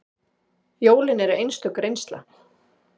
Jólin eru einstök reynsla